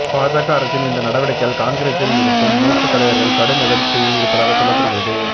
பாஜக அரசின் இந்த நடவடிக்கையால் காங்கிரஸில் இருக்கும் மூத்த தலைவர்கள் கடும் அதிருப்தியில் இருப்பதாக சொல்லப்படுகிறது